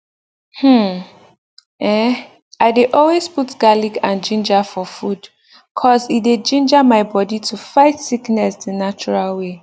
hmmm eh i dey always put garlic and ginger for food cause e dey ginga my bodi to fight sickness the natural way